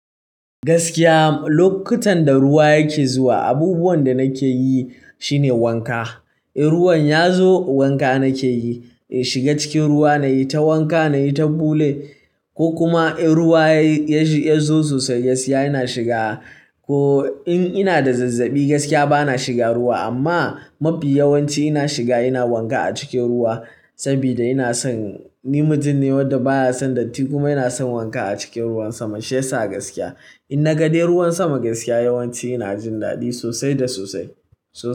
Gaskiya lokutan da ruwa yake zuwa, abubuwan da nake yi shine wanka. In ruwan ya zo wanka nake yi, in shiga cikin ruwa nayi ta wanka nayi ta bule ko kuma in ruwa ya zo sosai gaskiya ina shiga. Ko in ina da zazzabi gaskiya bana shiga ruwa amma mafi yawanci ina shiga ina wanka a cikin ruwa saboda ina son, ni mutum ne wanda baya son datti kuma ina son wanka a cikin ruwan sama shiyasa gaskiya. Inna ga dai ruwan sama gaskiya yawanci ina jin daɗi sosai da sosai. Sosai.